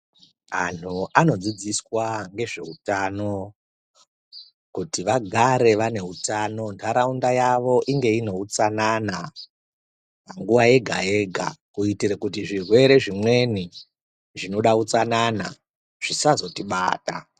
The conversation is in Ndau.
Antu anodzidziswa ngezveutano kuti vagare vanehutano ntaraunda yavo inge ine hutsanana nguva yega-yega. Kuitire kuti zvirwere zvimweni zvinoda utsanana zvisazotibata.